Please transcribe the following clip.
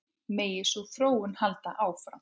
Megi sú þróun halda áfram.